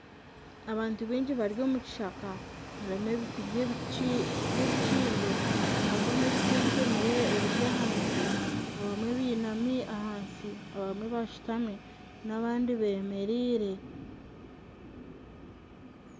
Abantu baingi bari omu kishaka harimu ebiti by'ebikindo hariho n'ebiti ebitemire ebiri ahansi abamwe bainami ahansi abamwe bashutami n'abandi bemereire.